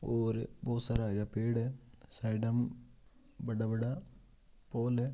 और बहुत सारा हरा पेड़ हे साइड बड़ा-बड़ा पोल है।